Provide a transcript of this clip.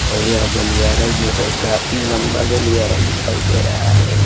और यह गलियारा जो है काफी लंबा गलियारा दिखाइ दे रहा है।